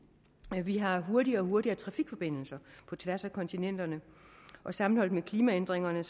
vi har fået hurtigere og hurtigere trafikforbindelser på tværs af kontinenterne og sammenholdt med klimaændringerne